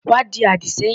Wá di àdì sẹ́yìn.